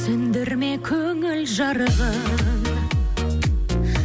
сөндірме көңіл жарығын